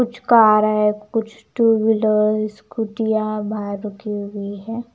कुछ कार हैं कुछ टू व्हीलर स्कूटियां बाहर रुकी हुई हैं ।